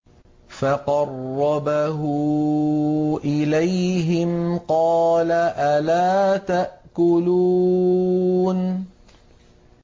فَقَرَّبَهُ إِلَيْهِمْ قَالَ أَلَا تَأْكُلُونَ